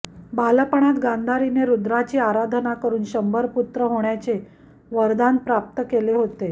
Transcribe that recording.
बालपणात गांधारीने रुद्राची आराधना करून शंभर पुत्र होण्याचे वरदान प्राप्त केले होते